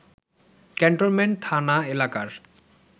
cantonment থানা এলাকার